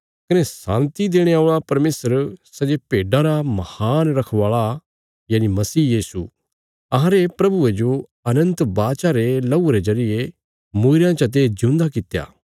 कने शान्ति देणे औल़ा परमेशर सै जे भेड्डां रा महान रखवाला यनि मसीह यीशु अहांरे प्रभुये जो अनन्त वाचा रे लहूये रे जरिये मूईरयां चते जिऊंदा कित्या